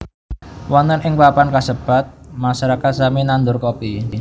Wonten ing papan kasebat masyarakat sami nandur Kopi